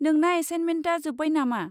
नोंना एसाइन्टमेन्टा जोब्बाय नामा?